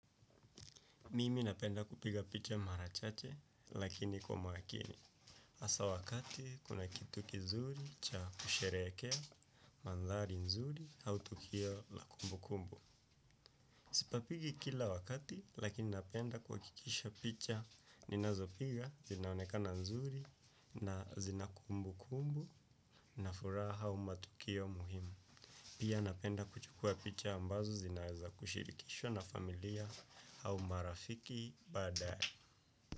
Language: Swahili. Mimi napenda kupiga picha mara chache lakini kwa makini. Hasa wakati kuna kitu kizuri cha kusherehekea, mandhari nzuri au tukio la kumbukumbu. Sipapigi kila wakati lakini napenda kuhakikisha picha ninazo piga zinaonekana nzuri na zina kumbukumbu na furaha au matukio muhimu. Pia napenda kuchukua picha ambazo zinaeza kushirikishwa na familia au marafiki baada.